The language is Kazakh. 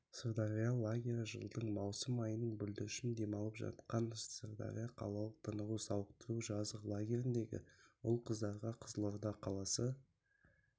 сырдария лагері жылдың маусым айының бүлдіршін демалып жатқан сырдария қалалық тынығу сауықтыру жазғы лагеріндегі ұл-қыздарға қызылорда қаласы